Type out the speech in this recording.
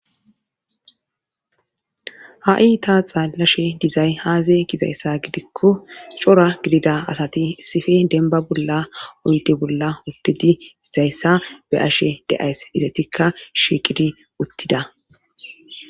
ha'i ta xellashe dizay aaze gizayssa gidikko cora gidida asati issippe denba bolla oydde bolla uttidii dizayssa be'ashe de'ays izetikka shiiqidi uttida